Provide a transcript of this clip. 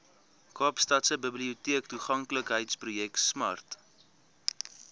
kaapstadse biblioteektoeganklikheidsprojek smart